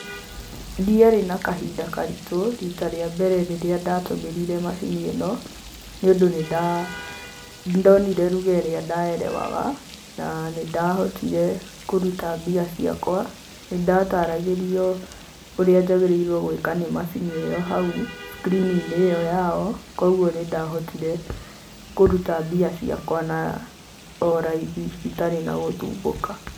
Ndiarĩ na kahinda karitũ rita rĩa mbere rĩrĩa ndatũmĩrire macini ĩno nĩ ũndũ nĩndonire lugha ĩrĩa ndaerewaga na nĩndahotire kũruta mbia ciakwa, nĩndataragĩrio ũrĩa njagĩrĩirwo gwĩka nĩ macini ĩ yo hau screen -inĩ ĩyo ya o kogwo nĩndahotire kũruta mbia ciakwa o raithi itarĩ na gũthumbuka.